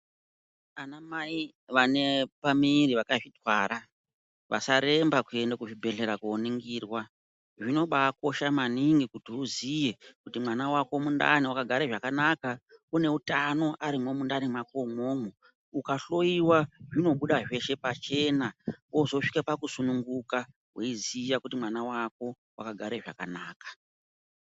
Vana mai vane pamuviri vakazvitwara vasaremba kuenda kuzvibhehlera koningirwa. Zvinobakosha maningi kuti uziye kuti mwana wako mundani wakagara zvakanaka, une utano arimwo mundani mwako umwomwo. Ukahloyiwa zvinobuda zveshe pachena ozosvika pakusununguka weiziya kuti mwana wako wakagare zvakanaka.